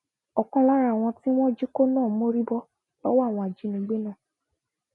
ọkan lára àwọn tí wọn jí kó náà mórí bọ lọwọ àwọn ajínigbé náà